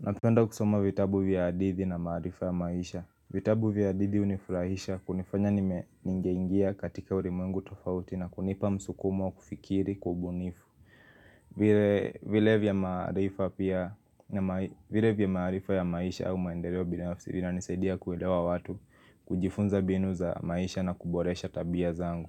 Napenda kusoma vitabu vya hadithi na maarifa ya maisha. Vitabu vya hadithi hunifurahisha kunifanya nime ningeingia katika ulimwengu tofauti na kunipa msukumo wa kufikiri kwa ubunifu. Vile vya maarifa ya maisha au maendeleo binafisi vinanisaidia kuelewa watu kujifunza mbinu za maisha na kuboresha tabia zangu.